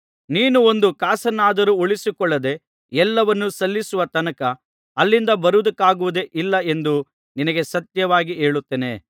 ನೀನು ಒಂದು ಕಾಸನ್ನಾದರೂ ಉಳಿಸಿಕೊಳ್ಳದೆ ಎಲ್ಲವನ್ನು ಸಲ್ಲಿಸುವ ತನಕ ಅಲ್ಲಿಂದ ಬರುವುದಕ್ಕಾಗುವುದೇ ಇಲ್ಲ ಎಂದು ನಿನಗೆ ಸತ್ಯವಾಗಿ ಹೇಳುತ್ತೇನೆ